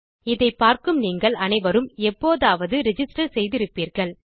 இதை பார்க்கும் நீங்கள் அனைவரும் எப்போதாவது ரிஜிஸ்டர் செய்திருப்பீர்கள்